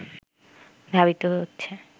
ধাবিত হচ্ছে